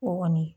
O kɔni